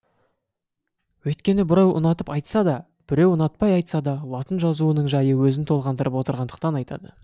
өйткені біреу ұнатып айтса да біреу ұнатпай айтса да латын жазуының жайы өзін толғандырып отырғандықтан айтады